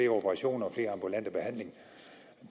operationer og flere ambulante